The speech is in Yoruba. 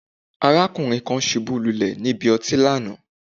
Arákùnrin kan ṣubú lulé nílé ọtí lánàá